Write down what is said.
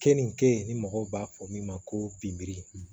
Keninke ni mɔgɔw b'a fɔ min ma ko bori